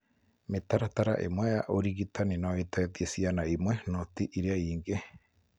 Mĩtaratara ĩmwe ya ũrigitani no ĩteithie ciana imwe no ti iria ingĩ.